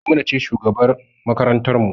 Maimuna ce shugabar makarantar mu